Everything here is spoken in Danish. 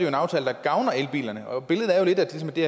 en aftale der gavner elbilerne og billedet er jo lidt at det